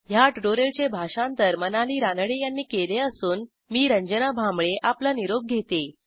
ह्या ट्युटोरियलचे भाषांतर मनाली रानडे यांनी केले असून मी रंजना भांबळे आपला निरोप घेते160